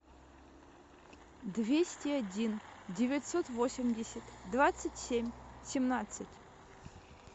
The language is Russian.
двести один девятьсот восемьдесят двадцать семь семнадцать